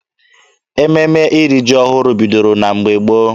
Ememe iri ji ọhụrụ bidoro na mgbe gboo.